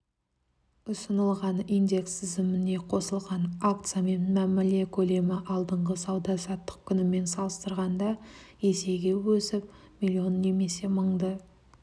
ұсынылған индекс тізіміне қосылған акциямен мәміле көлемі алдыңғы сауда-саттық күнімен салыстырғанда есеге өсіп миллион немесе мыңды